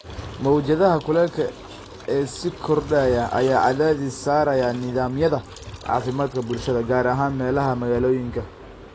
Mawjadaha kulaylka ee sii kordhaya ayaa cadaadis saaraya nidaamyada caafimaadka bulshada, gaar ahaan meelaha magaalooyinka.